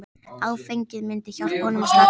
Áfengið myndi hjálpa honum að slaka á.